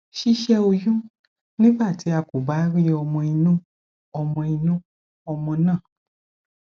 sise oyún nígbà tí a kò bá rí ọmọ inú ọmọ inú ọmọ náà